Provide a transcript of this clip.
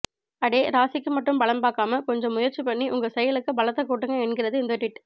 அடே ராசிக்கு மட்டும் பலன் பாக்காமா கொஞ்சம் முயற்சி பன்னி உங்க செயலுக்கு பலத்த கூட்டுங்க என்கிறது இந்த டிவிட்